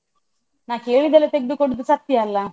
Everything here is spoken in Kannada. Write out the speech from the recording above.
ನಾ ಕೇಳಿದ್ದೆಲ್ಲ ತೆಗ್ದು ಕೊಡುದು ಸತ್ಯ ಅಲ್ಲ?